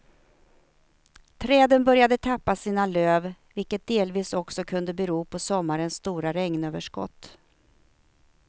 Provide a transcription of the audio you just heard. Träden började tappa sina löv vilket delvis också kunde bero på sommarens stora regnöverskott.